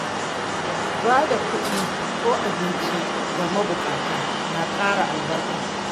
Ba da kuɗi ko abinci ga mabukata na ƙara albarka.